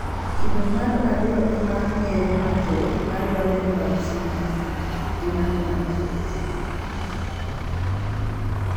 Kido mar ariyo ema ng'ere mathoth mar Waardenburg syndrome, gi mano mar type 2.